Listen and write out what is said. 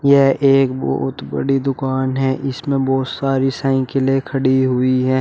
यह एक बहोत बड़ी दुकान है इसमें बहोत सारी साइकिलें है खड़ी हुई हैं।